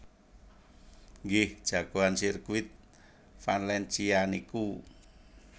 Nggih jagoan sirkuit Valencia niku